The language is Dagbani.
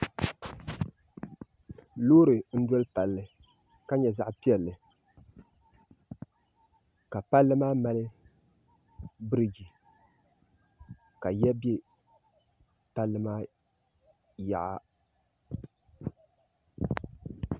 Loori n-doli palli ka nyɛ zaɣ' piɛlli ka palli maa mali birigi ka ya be palli maa yaɣa